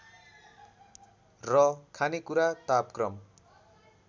र खानेकुरा तापक्रम